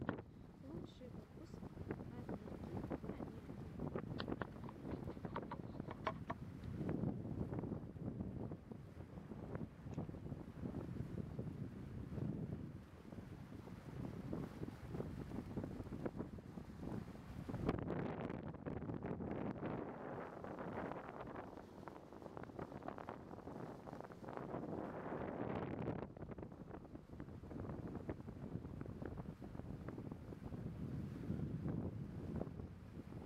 лучший выпуск амельки карамельки